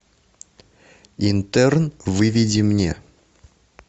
интерн выведи мне